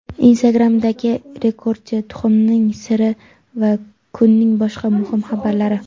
Instagram’dagi rekordchi tuxumning siri va kunning boshqa muhim xabarlari.